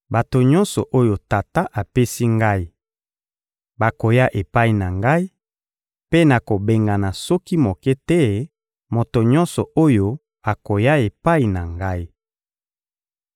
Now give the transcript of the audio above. Bato nyonso oyo Tata apesi Ngai bakoya epai na Ngai, mpe nakobengana soki moke te moto nyonso oyo akoya epai na Ngai.